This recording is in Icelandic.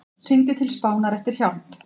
Hringdi til Spánar eftir hjálp